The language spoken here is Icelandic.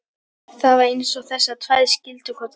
Það var eins og þessar tvær skildu hvor aðra.